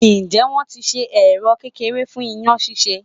Nje, wọ́n ti ṣe ẹ̀rọ kékeré fun iyán ṣíṣe?